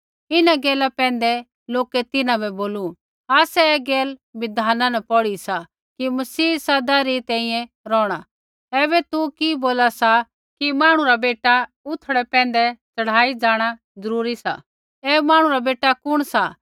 इन्हां गैला पैंधै लोकै तिन्हां बै बोलू आसै ऐ गैला बिधाना न पौढ़ी सा कि मसीह सदा री तैंईंयैं रौहणा ऐबै तू कि बोला सा कि मांहणु रा बेटा उथड़ै पैंधै च़ढ़ाई जाँणा जरूरी सा ऐ मांहणु रा बेटा कुण सा